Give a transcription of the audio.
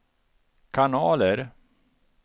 kanaler